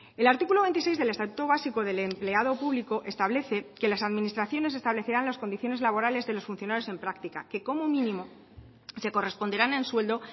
el artículo veintiséis del estatuto básico del empleado público establece que las administraciones establecerán las condiciones laborales de los funcionarios en práctica que como mínimo se corresponderán en sueldo